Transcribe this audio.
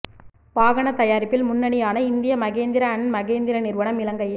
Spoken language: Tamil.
வாகன தயாரிப்பில் முன்னணியான இந்திய மகேந்திர அன்ட் மகேந்திர நிறுவனம் இலங்கையில்